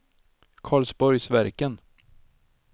Karlsborgsverken